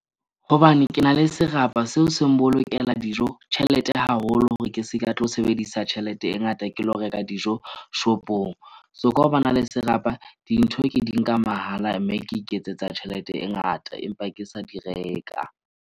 Hobane ke na le serapa, seo se nbolokela dijo tjhelete haholo hore ke se ka tlo sebedisa tjhelete e ngata ke lo reka dijo shop-ong. So, ka ho ba na le serapa dintho ke di nka mahala. Mme ke iketsetsa tjhelete e ngata empa ke sa di reka.